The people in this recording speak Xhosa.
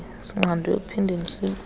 sinqandwe ekuphindeni sibuye